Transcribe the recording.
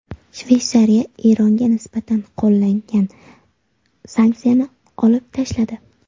Shveysariya Eronga nisbatan qo‘llangan sanksiyani olib tashladi.